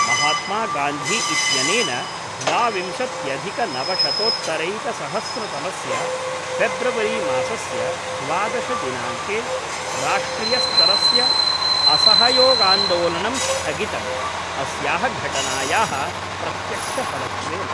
महात्मा गान्धी इत्यनेन द्वाविंशत्यधिकनवशतोत्तरैकसहस्रतमस्य फेब्रुवरीमासस्य द्वादश दिनाङ्के, राष्ट्रियस्तरस्य असहयोगान्दोलनं स्थगितम्, अस्याः घटनायाः प्रत्यक्षफलत्वेन।